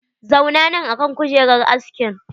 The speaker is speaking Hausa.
Zauna nan akan kujerar askin!